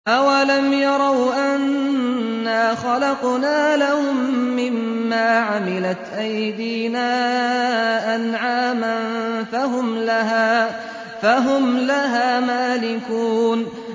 أَوَلَمْ يَرَوْا أَنَّا خَلَقْنَا لَهُم مِّمَّا عَمِلَتْ أَيْدِينَا أَنْعَامًا فَهُمْ لَهَا مَالِكُونَ